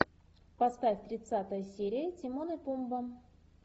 поставь тридцатая серия тимон и пумба